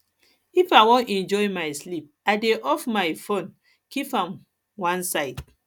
if i wan enjoy my sleep i dey off my my fone keep am one side